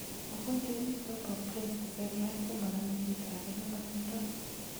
Mogonjwet nitok po breast seriat komanamei chito ake nemotindoi